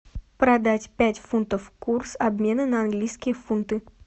продать пять фунтов курс обмена на английские фунты